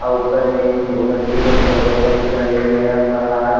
अ ऊपर में ईसु मसीह के फोटो बने लगी है अ पहा --